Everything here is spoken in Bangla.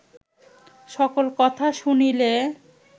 সকল কথা শুনিলে